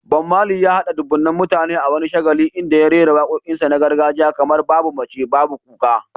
Bob Marley, ya haɗa dubunnan mutane a wani shagali inda ya rera waƙoƙin gargajiya kamar "Babu Mace, Babu Kuka".